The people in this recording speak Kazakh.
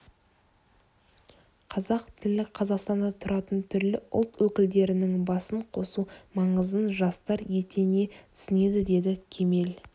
қазақ тілі қазақстанда тұратын түрлі ұлт өкілдерінің басын қосу маңызын жастар етене түсінеді деді кемел